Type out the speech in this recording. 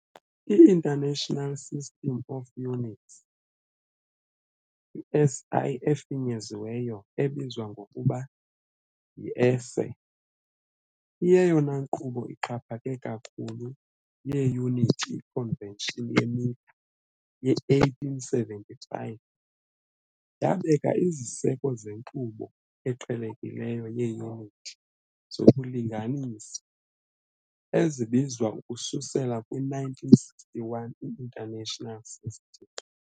I-International System of Units, i-SI efinyeziweyo, ebizwa ngokuba "yi-esse-i", iyeyona nkqubo ixhaphake kakhulu yeeyunithi. I-Convention ye-Meter ye-1875 yabeka iziseko zenkqubo eqhelekileyo yeeyunithi zokulinganisa, ezibizwa ukususela kwi-1961 "i-International System".